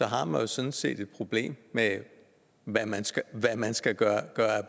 har man jo sådan set et problem med hvad man skal gøre af